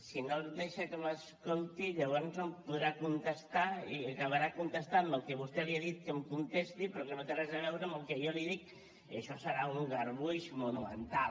si no deixa que m’escolti llavors no em podrà contestar i acabarà contestant me el que vostè li ha dit que em contesti però que no té res a veure amb el que jo li dic i això serà un garbuix monumental